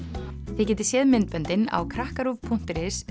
þið getið séð myndböndin á krakkaruv punktur is